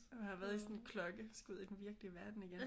At have været i sådan en klokke. Skal ud i den virkelige verden igen